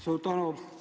Suur tänu!